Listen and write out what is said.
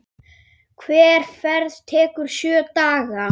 Hver ferð tekur sjö daga.